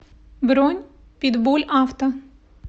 бронь питбульавто